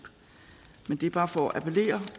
men det er bare for at appellere